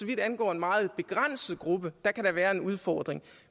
det angår en meget begrænset gruppe kan være en udfordring